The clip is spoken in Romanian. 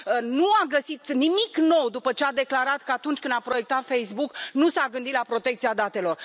Nu a găsit nimic nou după ce a declarat că, atunci când a proiectat Facebook, nu s a gândit la protecția datelor.